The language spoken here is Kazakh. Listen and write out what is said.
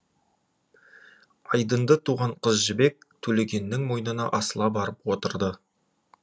айдынды туған қыз жібек төлегеннің мойнына асыла барып отырды